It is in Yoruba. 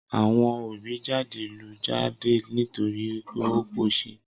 Awọn òbí jade lù jade nítorì wípé ọ kọ ṣẹ.